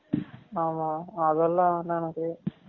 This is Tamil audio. ஆமா, அது எல்லாம் வேண்டாம் எனக்கு